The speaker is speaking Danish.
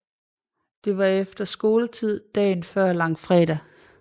Det var efter skoletid dagen før langfredag